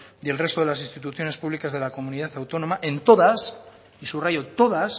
y el resto de las instituciones públicas de la comunidad autónoma en todas y subrayo todas